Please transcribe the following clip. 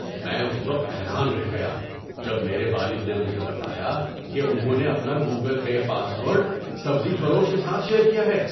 میں اس وقت حیران رہ گیا جب میرے والد نے مجھے بتایا کہ انہوں نے اپنا گوگل پے پاس ورڈ سبزی فروش کے ساتھ شیئر کیا ہے۔